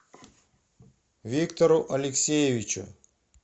виктору алексеевичу